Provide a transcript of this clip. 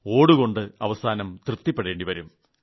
ഓട് കൊണ്ട് അവസാനം തൃപ്തിപ്പെടേണ്ടിവരും